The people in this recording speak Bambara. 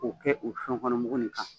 O kɛ o fɛnkɔnɔmu nin kan